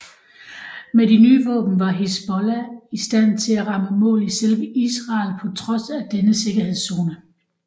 Med de nye våben var Hizbollah i stand til at ramme mål i selve Israel på trods af denne sikkerhedszone